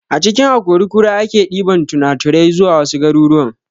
A cikin akori kura ake ɗiban tunaturai zuwa wasu garuruwan